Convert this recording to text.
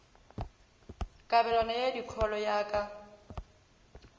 kabelano ya dikholo ya ka